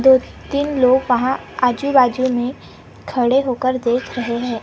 दो तीन लोग वहां आजू बाजू में खड़े होके देख रहे हैं।